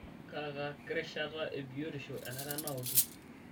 Kaaka kirishata ebiotisho enare naokie?